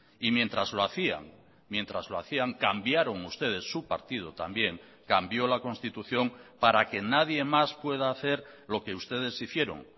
y mientras lo hacían mientras lo hacían cambiaron ustedes su partido también cambió la constitución para que nadie más pueda hacer lo que ustedes hicieron